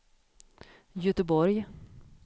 Göteborg